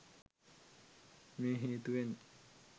මේ හේතුවෙන්